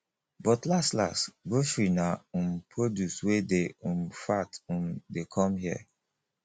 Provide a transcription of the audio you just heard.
but last last grocery na um produce wey dey um fat um dey come here